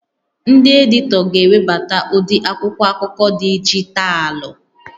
Ndị editọ ga-ewebata ụdị akwụkwọ akụkọ dijitalụ